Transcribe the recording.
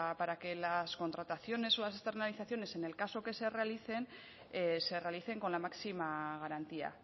para que las contrataciones o las externalizaciones en el caso que se realicen se realicen con la máxima garantía